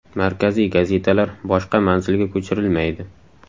Markaziy gazetalar boshqa manzilga ko‘chirilmaydi.